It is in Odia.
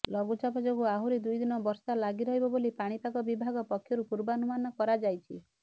ଲଘୁଚାପ ଯୋଗୁଁ ଆହୁରି ଦୁଇଦିନ ବର୍ଷା ଲାଗି ରହିବ ବୋଲି ପାଣିପାଗ ବିଭାଗ ପକ୍ଷରୁ ପୂର୍ବାନୁମାନ କରାଯାଇଛି